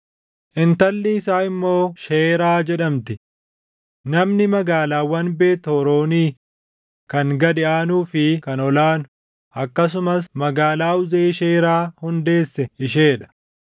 Intalli isaa immoo Sheeraa jedhamti; namni magaalaawwan Beet Horoonii kan gad aanuu fi kan ol aanu, akkasumas magaalaa Uzeen Sheeraa hundeesse ishee dha.